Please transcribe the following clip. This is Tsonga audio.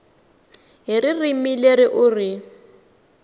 hi ririmi leri u ri